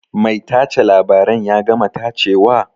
Mai tace labaren ya gama tacewa?